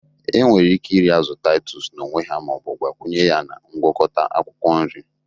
Enwere ike iri azu titus n'onwe ha Ma o bu gbakwunye ya na ngwakota akwukwo nri.